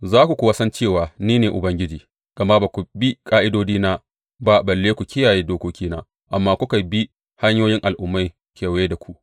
Za ku kuwa san cewa ni ne Ubangiji, gama ba ku bi ƙa’idodina ba balle ku kiyaye dokokina, amma kuka bi hanyoyin al’ummai kewaye da ku.